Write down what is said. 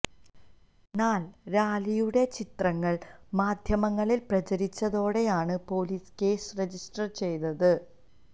എന്നാൽ റാലിയുടെ ചിത്രങ്ങൾ മാദ്ധ്യമങ്ങളിൽ പ്രചരിച്ചതോടെയാണ് പൊലീസ് കേസ് രജിസ്റ്റർ ചെയ്തത്